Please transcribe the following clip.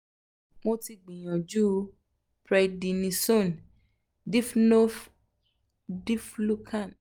mo ti gbìyànjú prednisone diflucan